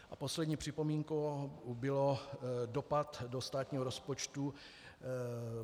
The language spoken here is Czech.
A poslední připomínkou byl dopad do státního rozpočtu.